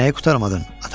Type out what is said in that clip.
Nəyi qurtarmadın?